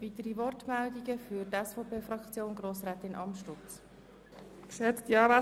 Es gibt eine weitere Wortmeldung seitens von Grossrätin Amstutz für die SVP-Fraktion.